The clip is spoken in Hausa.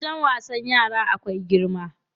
Wajen wasan yara akwai girma.